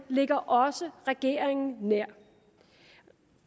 ligger også regeringen nær